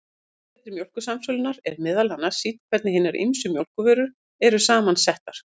Á vefsetri Mjólkursamsölunnar, er meðal annars sýnt hvernig hinar ýmsu mjólkurvörur eru saman settar.